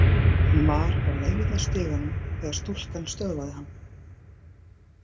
Hann var á leið að stiganum þegar stúlkan stöðvaði hann.